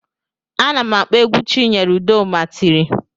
Ana m akpọ egwu Chinyere udoma tiri